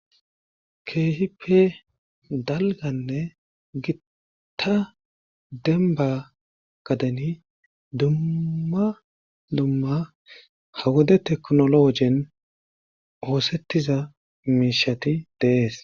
keehipe dalganne gitta denba gadeni dumma dumma ha wode teknologen oosettiza miishati de7es